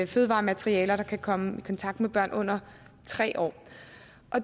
fødevarematerialer der kan komme i kontakt med børn under tre år